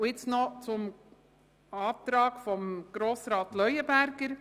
Nun zum Antrag von Grossrat Leuenberger.